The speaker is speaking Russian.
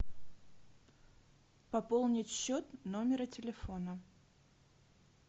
пополнить счет номера телефона